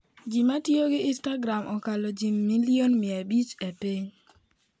Ji matiyo gi Instagram okalo ji milion mia abich e piny.